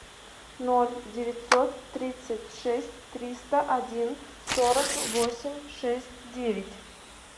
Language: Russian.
ноль девятьсот тридцать шесть триста один сорок восемь шесть девять